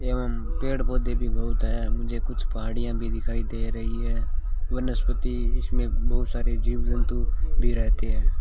एवं पेड़ पौधे भी बहुत है मुझे कुछ पहाड़ियां भी दिखाई दे रही है वनस्पति इसमें बहुत सारे जीव जंतु भी रहते है।